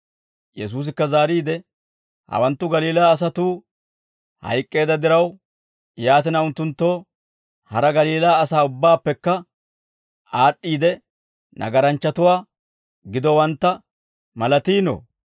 Yesuusikka zaariide, «Hawanttu Galiilaa asatuu hayk'k'eedda diraw, yaatina unttunttoo hara Galiilaa asaa ubbaappekka aad'd'iide nagaranchchatuwaa gidowantta malatiinoo?